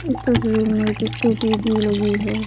इस तस्वीर में किसको टोपी लगी है।